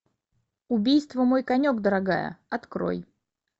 убийство мой конек дорогая открой